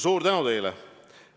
Suur tänu teile!